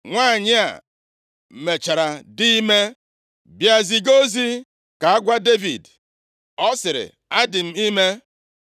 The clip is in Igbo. Nwanyị a mechara dị ime, bịa ziga ozi ka agwa Devid. Ọ sịrị, “Adị m ime.”